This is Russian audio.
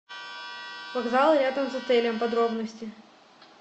вокзалы рядом с отелем подробности